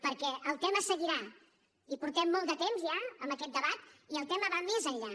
perquè el tema seguirà i portem molt de temps ja amb aquest debat i el tema va més enllà